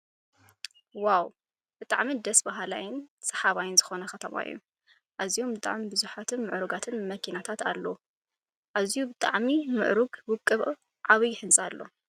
ዋው ብጣዕሚ ደስ ብሃላይን ስሓባይ ዝኮነ ከተማ እዩ። ኣዝዮም ብጣዕሚ ብዙሓትን ምዕሩጋት መኪናታት ኣሎ። ኣዝዩ ብጣዕሚ ምዕሩግ ውቅብ ዓብይ ህንፃ ኣሎ።